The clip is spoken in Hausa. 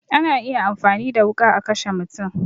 Ana iya amfani da wuƙa a kashe mutum